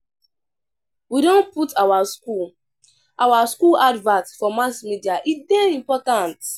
We don put our skool our skool advert for mass media, e dey important.